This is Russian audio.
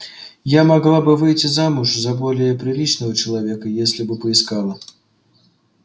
я могла бы выйти замуж за более приличного человека если бы поискала